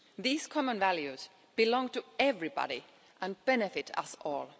These common values belong to everybody and benefit us all.